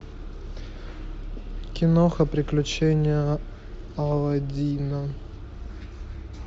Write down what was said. киноха приключения аладдина